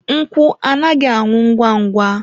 Nkwụ anaghị anwụ ngwa ngwa.